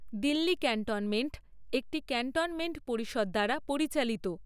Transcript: Delhi cantonment একটি cantonment পরিষদ দ্বারা পরিচালিত।